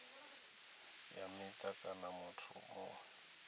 ya mita kana muthu muṅwe